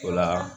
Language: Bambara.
O la